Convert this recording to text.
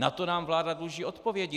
Na to nám vláda dluží odpovědi.